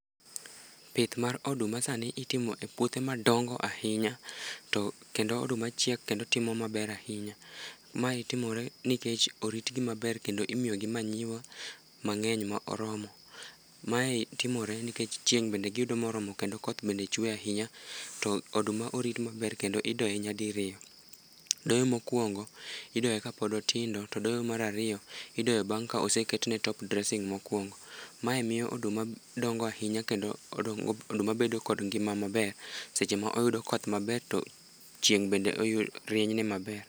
Pith mar oduma sani itimo e puothe madongo ahinya. To kendo oduma chiek kendo timo maber ahinya. Mae timore nikech oritgi maber kendo imiyogi manyiwa mangény moromo. Mae timore nikech chieng' bende giyudo moromo, kendo koth bende chwe ahinya. To oduma orit maber kendo idoye nyadiriyo. Doyo mokwongo, idoye ka pod otindo, to doyo mar ariyo, idoyo bang' ka oseketne top dressing mokwongo. Mae miyo oduma dongo ahinya kendo oduma bedo kod ngima maber, seche ma oyudo koth maber, to chieng' bende rieny ne maber.